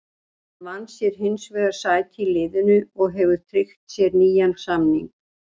Hann vann sér hins vegar sæti í liðinu og hefur tryggt sér nýjan samning.